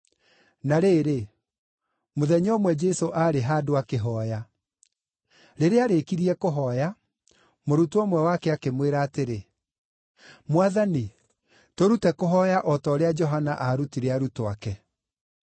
Na rĩrĩ, mũthenya ũmwe Jesũ aarĩ handũ akĩhooya. Rĩrĩa aarĩkirie kũhooya, mũrutwo ũmwe wake akĩmwĩra atĩrĩ, “Mwathani, tũrute kũhooya o ta ũrĩa Johana aarutire arutwo ake.”